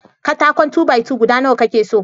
Katakon "2-by-2" guda Nawa ka ke so?